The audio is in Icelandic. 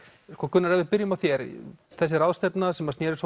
Gunnar ef við byrjum á þér þessi ráðstefna sem snerist